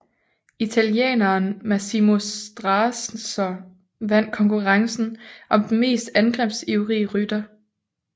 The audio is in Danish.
Italieneren Massimo Strazzer vand konkurrencen om den mest angrebsivrige rytter